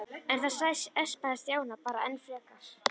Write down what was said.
En það espaði Stjána bara enn frekar.